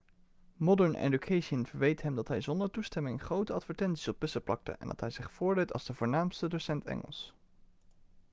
modern education verweet hem dat hij zonder toestemming grote advertenties op bussen plakte en dat hij zich voordeed als de voornaamste docent engels